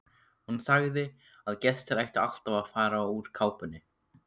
Hún sagði að gestir ættu alltaf að fara úr kápunni.